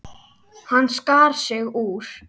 Hann skar sig úr.